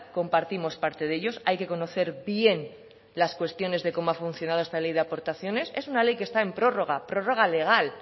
compartimos parte de ellos hay que conocer bien las cuestiones de cómo ha funcionado esta ley de aportaciones en una ley que está en prórroga prórroga legal